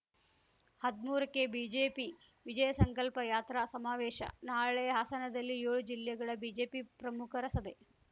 ಹದ್ಮೂರ ಕ್ಕೆ ಬಿಜೆಪಿ ವಿಜಯಸಂಕಲ್ಪ ಯಾತ್ರಾ ಸಮಾವೇಶ ನಾಳೆ ಹಾಸನದಲ್ಲಿ ಯೋಳು ಜಿಲ್ಲೆಗಳ ಬಿಜೆಪಿ ಪ್ರಮುಖರ ಸಭೆ